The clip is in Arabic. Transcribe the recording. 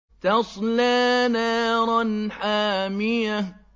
تَصْلَىٰ نَارًا حَامِيَةً